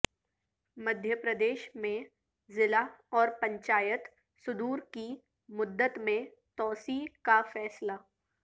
مدھیہ پردیش میں ضلع اور پنچایت صدور کی مدت میں توسیع کا فیصلہ